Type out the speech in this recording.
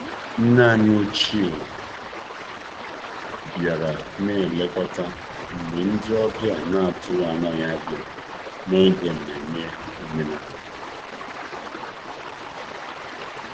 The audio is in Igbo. Nne anyị ochie bịara na-elekọta mgbe ndị ọbịa na-atụghị anya ya bịara n'oge nmenme omenala.